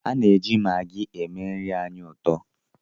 A na-eji magị eme nri anyị ụtọ